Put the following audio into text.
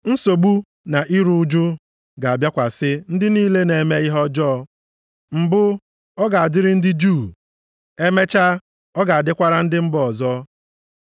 Nsogbu na iru ụjụ ga-abịakwasị ndị niile na-eme ihe ọjọọ, mbụ, ọ ga-adịrị ndị Juu, emechaa, ọ ga-adịkwara ndị mba ọzọ.